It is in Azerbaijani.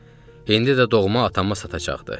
İndi də doğma atama satacaqdı.